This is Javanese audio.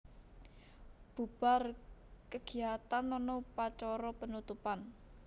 Bubar kegiatan ana upacara penutupan